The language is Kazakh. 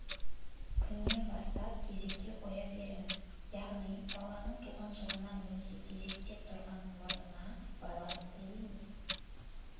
күннен бастап кезекке қоя беріңіз яғни баланың туған жылына немесе кезекте тұрған орнына байланысты емес